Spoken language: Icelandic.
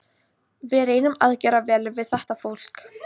Við reynum að gera vel við þetta fólk.